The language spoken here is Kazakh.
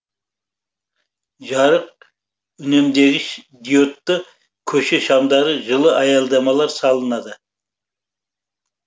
жарық үнемдегіш диодты көше шамдары жылы аялдамалар салынады